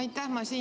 Aitäh!